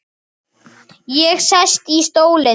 Ég sest í stólinn þinn.